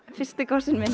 fyrsti kossinn minn